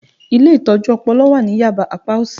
Ilé Ìtọ́jú Ọpọlọ wà ní Yaba apá òsì